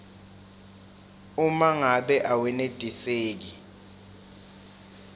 uma ngabe awenetiseki